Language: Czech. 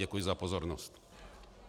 Děkuji za pozornost.